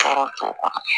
Tɔɔrɔ t'o kɔnɔ